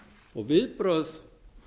og viðbrögð